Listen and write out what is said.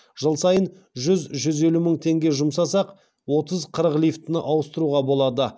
жыл сайын жүз жүз елу миллион теңге жұмсасақ отыз қырық лифтіні ауыстыруға болады